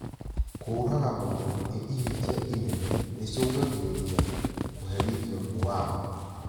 Kũraga mũndũ nĩ ihĩtia inene rĩcũngagĩrĩria kũherithio nĩ watho